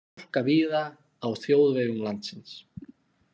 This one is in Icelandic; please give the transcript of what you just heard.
Hálka víða á þjóðvegum landsins